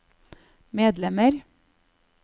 medlemmer